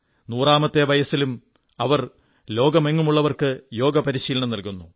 നൂറാമത്തെ വയസ്സിലും അവർ ലോകമെങ്ങുമുള്ളവർക്ക് യോഗ പരിശീലനം നല്കുന്നു